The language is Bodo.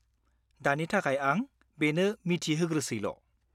-दानि थाखाय आं बेनो मिथिहोग्रोसैल'।